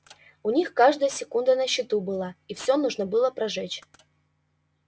у них каждая секунда на счету была и все нужно было прожечь